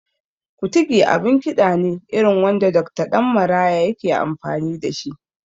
Kutigi abin kiɗa ne irin wanda Dokta Ɗan Maraya yake amfani da shi